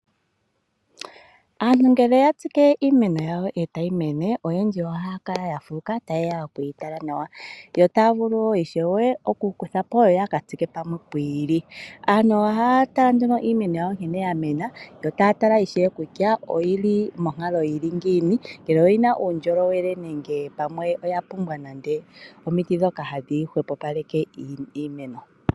Aantu ngele ya tsike iimeno yawo e tayi mene oyendji ohaya kala ya fuuka nohaye ya oku yi tala nawa. Yo taya vulu wo okukutha po yo ya ka tsike palwe pwiili. Aantu ohaya taya tala ishewe kutya oyi li monkalo yi li ngiini ngele oyi li muundjolowe nenge pamwe oya pumbwa omiti ndhoka hadhi hwepopaleke iimeno.